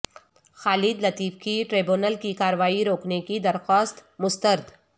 خالد لطیف کی ٹریبونل کی کارروائی روکنے کی درخواست مسترد